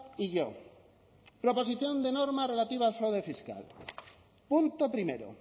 y yo proposición de norma relativa al fraude fiscal punto primero